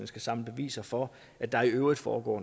skal samle beviser for at der i øvrigt foregår